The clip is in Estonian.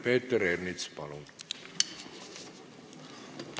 Peeter Ernits, palun!